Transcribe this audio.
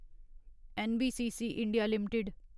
NBCC India limited